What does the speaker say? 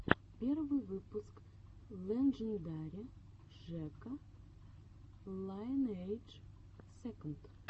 первый выпуск лэджендари жека лайнэйдж сэконд